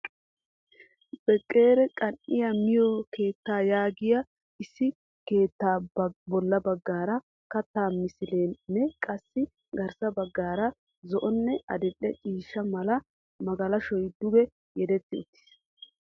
Bekeri qan"iya miyoo keettaa yaagiyaa issi keettaa bolla baggaara kattaa misileenne qassi garssa baggaara zo'onne adil'e ciishsha mala magalashoy duge yedetti uttis.